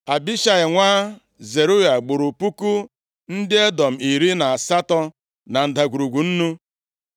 Abishai nwa Zeruaya gburu puku ndị Edọm iri na asatọ na Ndagwurugwu Nnu.